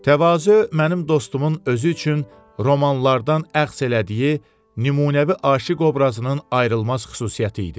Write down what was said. Təvazö mənim dostumun özü üçün romanlardan əxz elədiyi nümunəvi aşiq obrazının ayrılmaz xüsusiyyəti idi.